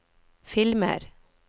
filmer